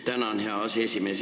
Tänan, hea aseesimees!